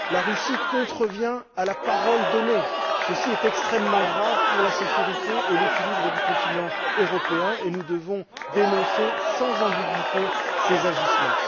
La Russie contrevient à la parole donnée! Ceci est extrêmement grave pour la sécurité et l'équilibre du continent européen, et nous devons dénoncer sans ambigüité ces agissements.